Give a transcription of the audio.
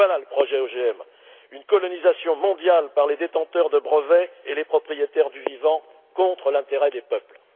Voilà le projet OGM une colonisation mondiale par les détenteurs de brevets et les propriétaires du vivant contre l'intérêt des peuples!